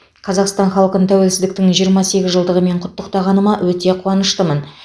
қазақстан халқын тәуелсіздіктің жиырма сегіз жылдығымен құттықтағаныма өте қуаныштымын